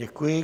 Děkuji.